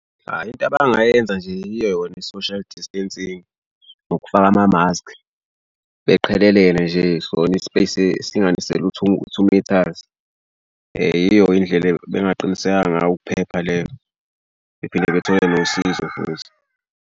Ayi into abangayenza nje yiyo yona i-social distancing ngokufaka amamaski beqhelelene nje sona i-space-i singanisele u-two u-two metres. Yiyo indlela bengaqinisekisa ngayo ukuphepha leyo bephinde bethole nosizo futhi.